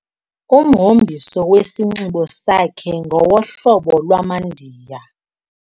Umhombiso wesinxibo sakhe ngowohlobo lwamaNdiya.